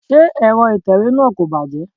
Ṣé Ẹ̀rọ itewe náà kò bàjẹ́?